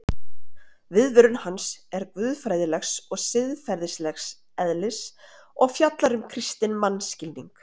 Viðvörun hans er guðfræðilegs og siðferðilegs eðlis og fjallar um kristinn mannskilning.